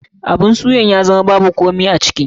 Abun suyan ya zama babu komai a ciki.